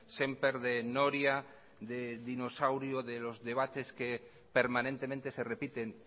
sémper de noria de dinosaurio de los de debates que permanentemente se repiten